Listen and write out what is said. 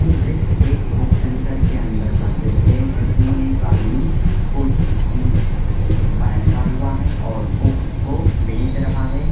यह दृश्य एक बुक सेंटर के अंदर का है जिसमे एक आदमी कुर्सी की बैठा हुआ है और बुक्स को बेच रहा है |